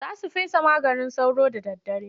Za su fesa maganin sauro da daddare.